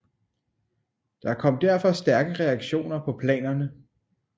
Der kom derfor stærke reaktioner på planerne